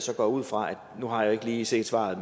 jeg ud fra nu har jeg ikke lige set svaret